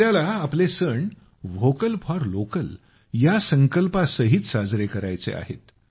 आम्हाला आपले सण व्होकल फॉर लोकल या संकल्पासहित साजरे करायचे आहेत